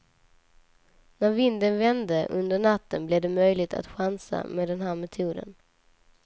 När vinden vände under natten blev det möjligt att chansa med den här metoden.